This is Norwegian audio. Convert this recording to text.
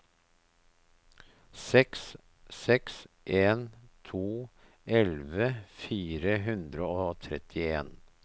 seks seks en to elleve fire hundre og trettien